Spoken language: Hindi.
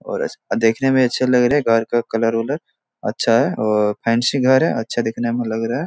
औरस अ देखने में अच्छे लग रहे हैं। घर का कलर -उलर अच्छा है और फैंसी घर है। अच्छा दिखने में लग रहा है।